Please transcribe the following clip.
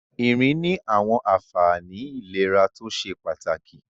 Ìrìn ní àwọn àfààní ìlera tó ṣe pàtàkì.